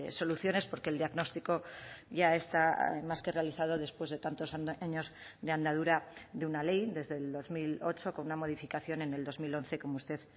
soluciones porque el diagnóstico ya está más que realizado después de tantos años de andadura de una ley desde el dos mil ocho con una modificación en el dos mil once como usted